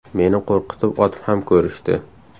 Meni qo‘rqitib otib ham ko‘rishdi.